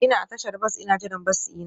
Ina a tashar bas ina jiran bas dina.